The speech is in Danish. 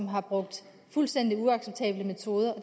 har brugt fuldstændig uacceptable metoder og